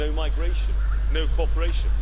no migration, no cooperation.